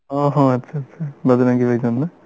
ও হ আচ্ছা আচ্ছা বজরঙ্গী ভাইজান না